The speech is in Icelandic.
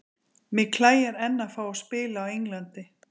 Mig klæjar enn að fá að spila á Englandi.